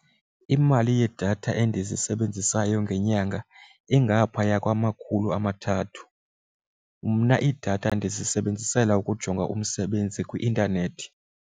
Imali yedatha endizisebenzisayo ngenyanga ingaphaya kwamakhulu amathathu. Mna idatha ndizisebenzisela ukujonga umsebenzi kwi-intanethi.